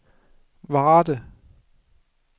Varde